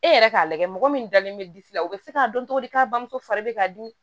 E yɛrɛ k'a lajɛ mɔgɔ min dalen bɛ disi la u bɛ se k'a dɔn cogo di k'a bamuso fari bɛ ka di